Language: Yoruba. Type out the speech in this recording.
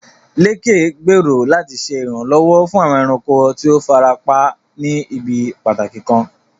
Lékè gbèrò láti ṣe ìrànlọ́wọ́ fún àwọn ẹranko tí ó fara pa ní ibi pàtàkì kan.